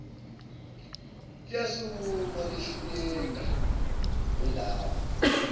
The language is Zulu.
liyasukuma lehluleka ngilapha